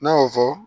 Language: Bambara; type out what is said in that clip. N'a y'o fɔ